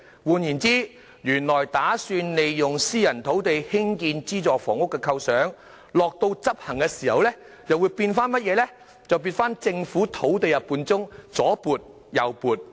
換言之，原本打算利用私人土地興建資助房屋的構想，在真正執行時又變成在政府土地中左撥右撥。